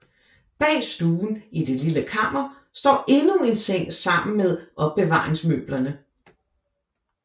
Bag stuen i det lille kammer står endnu en seng sammen med opbevaringsmøblerne